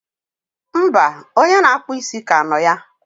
mba, onye na-akpụ isi ka nọ ya.